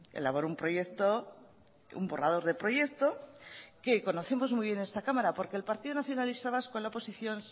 elaboró un proyecto un borrador de proyecto que conocemos muy bien en esta cámara porque el partido nacionalista vasco en la oposición